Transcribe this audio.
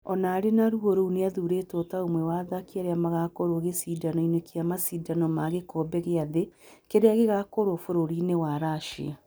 O na arĩ na ruo rũu nĩ athurĩtwo ta ũmwe wa athaki arĩa magakoruo gĩcindanoinĩ kĩa macindano ma gĩkombe gĩa thĩ, kĩrĩa gĩgakorwo bũrũriinĩ wa Russia.